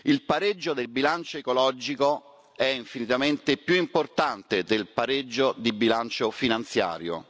Il pareggio di bilancio ecologico è infinitamente più importante del pareggio di bilancio finanziario.